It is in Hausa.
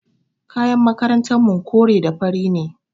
Kayan makarantarmu kore da fari ne.